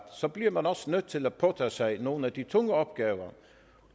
bliver man også nødt til at påtage sig nogle af de tunge opgaver